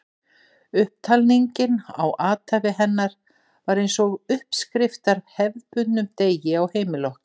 Upptalningin á athæfi hennar var eins og uppskrift að hefðbundnum degi á heimili okkar.